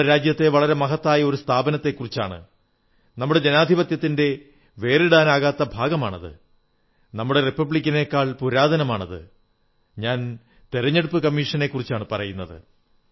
നമ്മുടെ രാജ്യത്തെ വളരെ മഹത്തായ ഒരു സ്ഥാപനത്തെക്കുറിച്ചാണ് നമ്മുടെ ജനാധിപത്യത്തിന്റെ അവിഭാജ്യ ഘടകമാണത് നമ്മുടെ റിപ്പബ്ലിക്കിനെക്കാൾ പുരാതനമാണത് ഞാൻ തിരഞ്ഞെടുപ്പു കമ്മീഷനെക്കുറിച്ചാണു പറയുന്നത്